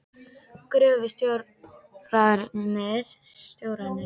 Gröfustjórarnir hljóta líka að vera vinir hans.